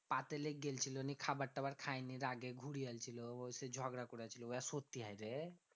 পাতে লেগ গেইলছিলো নিয়ে খাবার টাবার খায়নি রাগে ঘুরিয়া আইল ছিল। সেই ঝগড়া করে উহা সত্যি হয় রে?